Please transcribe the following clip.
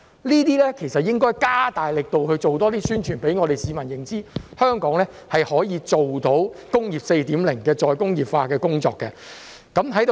這些應該加大力度多做宣傳，讓市民認知香港可以做到"工業 4.0" 的再工業化工作。